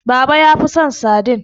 baba ya fi son sadin